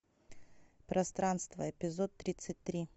пространство эпизод тридцать три